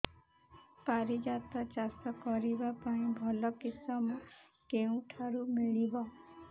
ପାରିଜାତ ଚାଷ କରିବା ପାଇଁ ଭଲ କିଶମ କେଉଁଠାରୁ ମିଳିବ